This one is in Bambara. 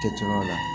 Kɛcogoyaw la